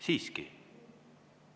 Siiski!